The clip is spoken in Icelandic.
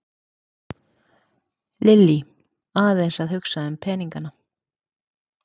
Lillý: Aðeins að hugsa um peningana?